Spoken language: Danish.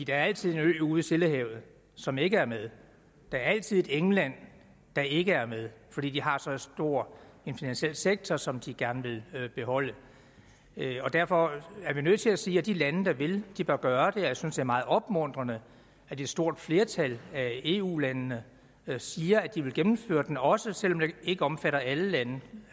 er altid en ø ude i stillehavet som ikke er med der er altid et england der ikke er med fordi de har så stor en finansiel sektor som de gerne vil beholde og derfor er vi nødt til at sige at de lande der vil bør gøre det og jeg synes det er meget opmuntrende at et stort flertal af eu landene siger at de vil gennemføre den også selv om det ikke omfatter alle lande